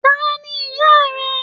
Taní ìyá rẹ?